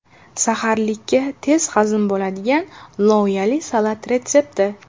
Saharlikka tez hazm bo‘ladigan loviyali salat retsepti.